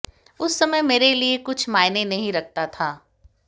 उस समय मेरे लिए कुछ मायने नहीं रखता था